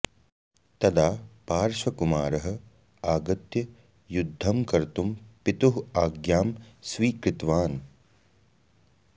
तदा पार्श्वकुमारः आगत्य युद्धं कर्तुं पितुः आज्ञां स्वीकृतवान्